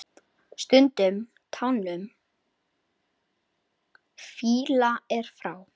Stundum tánum fýla er frá.